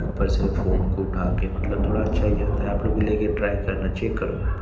ऊपर से फोन को उठाके मतलब थोड़ा अच्छा ही रहता है आप लोग को भी लेके टॉय करना चाहिए करो --